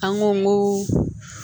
An ko ko